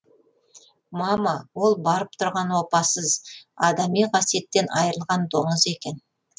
мама ол барып тұрған опасыз адами қасиеттен айырылған доңыз екен